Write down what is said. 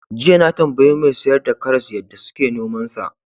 Jiya na tambayi mai sayar da karas yadda suke nomansa.